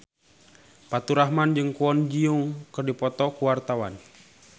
Faturrahman jeung Kwon Ji Yong keur dipoto ku wartawan